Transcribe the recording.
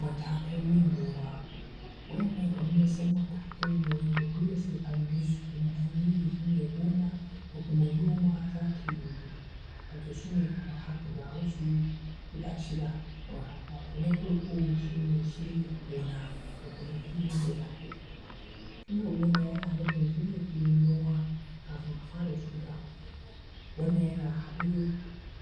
Matakan yin noma, waɗannan ‘yan wasu matakai ne wanda dole sai an bi su kuma anyi su shine gona da kuma noma zata yiwu, wato sune kamar haka, ga wasu guda shida kamar haka. Wato na farko shine shirya gona da kuma filin da zakai noma, shirya gona yana nufin shirya filin noma kafin a fara shuka, wannan yana haɗe